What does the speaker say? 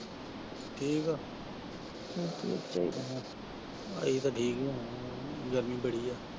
ਠੀਕ ਆ ਅਸੀਂ ਤਾ ਠੀਕ ਹੀ ਹੋਣਾ, ਗਰਮੀ ਬੜੀ ਆ।